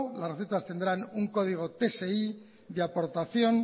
las recetas tendrán un código tsi de aportación